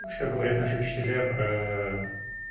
что говорят наши учителя про